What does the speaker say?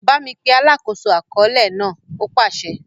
Bámi pe “ alákòóso àkọọ́lẹ̀ ” náà! ó pàsẹ.